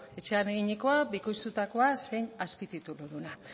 etxean eginikoa bikoiztutakoa zein azpitituluduna